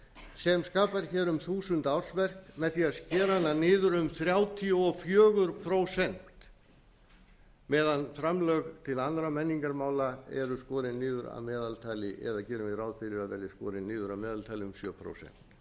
sem skapar hér um þúsund ársverk með því að skera hana niður um þrjátíu og fjögur prósent meðan framlög til annarra menningarmála eru skorin niður að meðaltali eða gerum við ráð fyrir að verði skorin niður að meðaltali um sjö prósent